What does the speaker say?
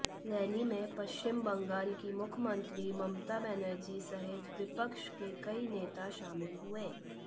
rally में पश्चिम बंगाल की मुख्यमंत्री ममता बनर्जी सहित विपक्ष के कई नेता शामिल हुए